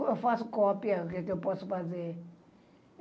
Eu faço cópia eu posso fazer.